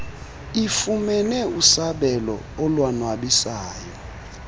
ifumene usabelo olonwabisayo